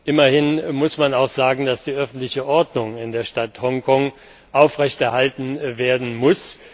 Immerhin muss man auch sagen, dass die öffentliche Ordnung in der Stadt Hongkong aufrechterhalten werden muss.